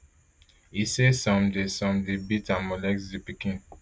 e say some dey some dey beat and molest di pikin